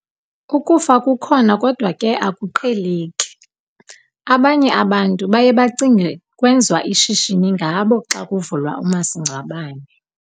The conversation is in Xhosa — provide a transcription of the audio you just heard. Ukufa kukhona kodwa ke akuqheleki, abanye abantu baye bacinge kwenziwa ishishini ngabo xa kuvulwa umasingcwabane.